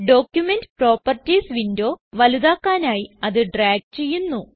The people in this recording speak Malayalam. ഡോക്യുമെന്റ് പ്രോപ്പർട്ടീസ് വിൻഡോ വലുതാക്കാനായി അത് ഡ്രാഗ് ചെയ്യുന്നു